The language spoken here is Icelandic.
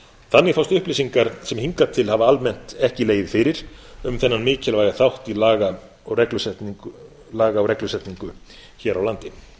þannig fást upplýsingar sem hingað til hafa almennt ekki legið fyrir um þennan mikilvæga þátt í laga og reglusetningu hér á landi